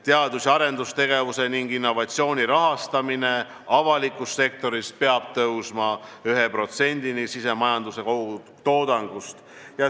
Teadus- ja arendustegevuse ning innovatsiooni rahastamine avalikus sektoris peab tõusma 1%-ni SKP-st.